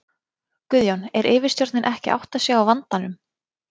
Guðjón: Er yfirstjórnin ekki að átta sig á vandanum?